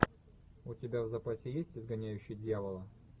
у тебя в запасе есть изгоняющий дьявола